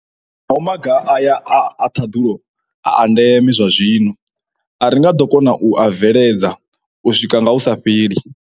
Naho maga aya a ṱhaḓulo a a ndeme zwazwino, a ri nga ḓo kona u a bveledza u swika nga hu sa fheli.